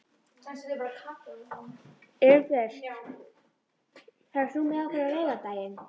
Elínbjört, ferð þú með okkur á laugardaginn?